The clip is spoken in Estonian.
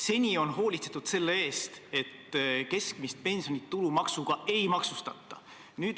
Seni on hoolitsetud selle eest, et keskmist pensioni tulumaksuga ei maksustata.